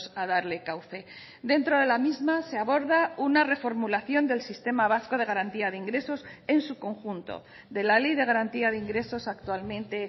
a darle cauce dentro de la misma se aborda una reformulación del sistema vasco de garantía de ingresos en su conjunto de la ley de garantía de ingresos actualmente